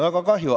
Väga kahju.